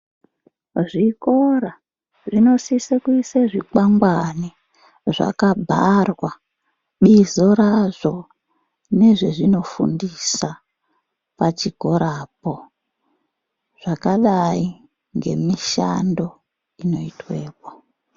Zvikora zvinosise kuise zvikwangani zvakabharwa bizo razvo nezvezvinofundisa pachikorapo zvakadai ngemishando inoitwepo.